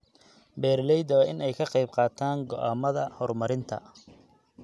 Beeralayda waa in ay ka qayb qaataan go'aamada horumarinta.